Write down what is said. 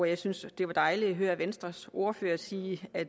jeg synes det var dejligt at høre venstres ordfører sige at